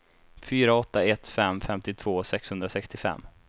fyra åtta ett fem femtiotvå sexhundrasextiofem